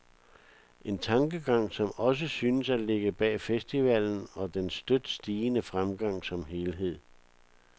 En tankegang, som også synes at ligge bag festivalen og dens støt stigende fremgang som helhed.